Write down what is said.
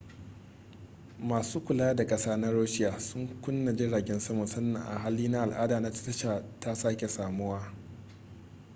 masu kula da kasa na russia sun kunna jiragen sama sannan hali na al'ada na tasha ta sake samuwa